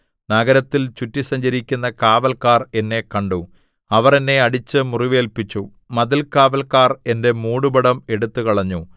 നഗരത്തിൽ ചുറ്റി സഞ്ചരിക്കുന്ന കാവല്ക്കാർ എന്നെ കണ്ടു അവർ എന്നെ അടിച്ച് മുറിവേല്പിച്ചു മതിൽകാവല്ക്കാർ എന്റെ മൂടുപടം എടുത്തുകളഞ്ഞു